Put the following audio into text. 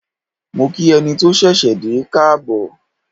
Mo kí ẹni tó ṣẹ̀ṣẹ̀ dé káàbọ̀.